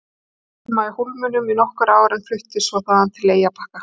Hann átti heima í Hólminum í nokkur ár en fluttist svo þaðan til Eyrarbakka.